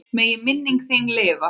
Megi minning þín lifa.